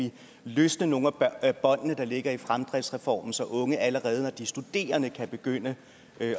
løsne nogle af båndene der ligger i fremdriftsreformen så unge allerede når de er studerende kan begynde